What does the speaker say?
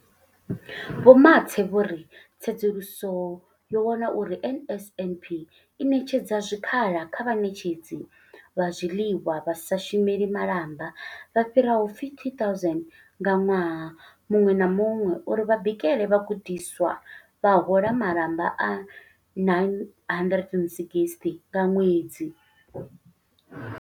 Vho Mathe vho ri, Tsedzuluso yo wana uri NSNP i ṋetshedza zwikhala kha vhaṋetshedzi vha zwiḽiwa vha sa shumeli malamba vha fhiraho 50 000 ṅwaha muṅwe na muṅwe uri vha bikele vhagudiswa, vha hola malamba a R960 nga ṅwedzi.